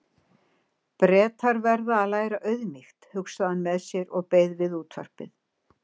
Bretar verða að læra auðmýkt, hugsaði hann með sér og beið við útvarpið.